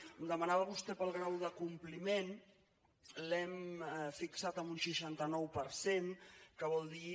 em demanava vostè pel grau de compliment l’hem fixat en un seixanta nou per cent que vol dir